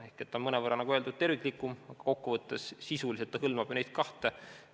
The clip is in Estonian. Ehk see on mõnevõrra terviklikum, aga kokkuvõttes sisuliselt hõlmab see ju neid kahte eelnõu.